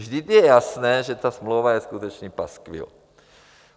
Vždyť je jasné, že ta smlouva je skutečně paskvil.